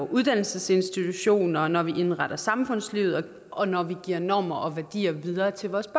uddannelsesinstitutioner når vi indretter samfundslivet og når vi giver normer og værdier videre til vores